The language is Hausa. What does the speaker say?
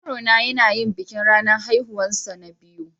Yaro na yana yin bikin ranan haihuwan sa na biyu.